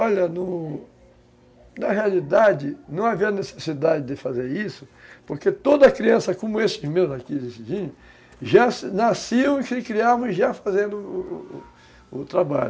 Olha, no na realidade, não havia necessidade de fazer isso, porque toda criança, como esses meus aqui, esses vinhos, já nasciam e se criavam já fazendo o o trabalho.